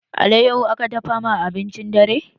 Alayyaho aka dafa ma abincin dare